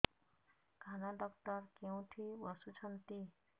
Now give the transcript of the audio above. କାନ ଡକ୍ଟର କୋଉଠି ବସୁଛନ୍ତି